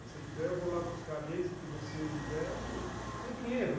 Se você quiser, eu vou lá buscar, desde que você me dê um um dinheiro.